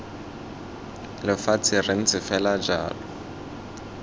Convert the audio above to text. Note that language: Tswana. lefatshe re ntse fela jalo